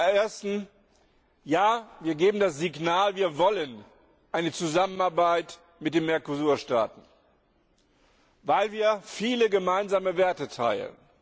Zum Ersten Ja, wir geben das Signal, wir wollen eine Zusammenarbeit mit den Mercosur Staaten, weil wir viele gemeinsame Werte teilen.